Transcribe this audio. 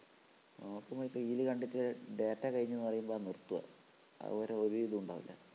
നോക്കുമ്പോ reel കണ്ടിട്ട് data കഴിഞ്ഞൂന്നു പറയുമ്പോഴാ നിർത്താ അതുവരെ ഒരിതുമുണ്ടാവൂല്ല